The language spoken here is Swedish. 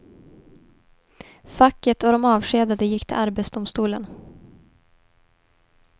Facket och de avskedade gick till arbetsdomstolen.